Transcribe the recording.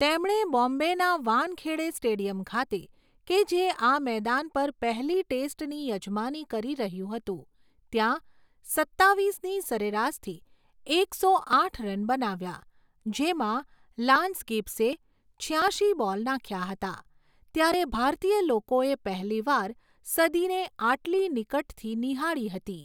તેમણે બોમ્બેના વાનખેડે સ્ટેડિયમ ખાતે, કે જે આ મેદાન પર પહેલી ટેસ્ટની યજમાની કરી રહ્યું હતું, ત્યાં સત્તાવીસની સરેરાશથી એકસો આઠ રન બનાવ્યા, જેમાં લાન્સ ગિબ્સે છ્યાશી બોલ નાખ્યા હતા, ત્યારે ભારતીય લોકોએ પહેલીવાર સદીને આટલી નિકટથી નિહાળી હતી.